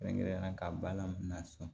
Kɛrɛnkɛrɛnnenya la ka balan na san